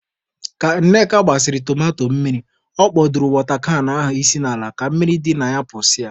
Ka Nneka gbasịrị tomato mmiri, ọ kpọdoro wọta kan ahụ isi n'ala ka mmiri dị na pụsịa.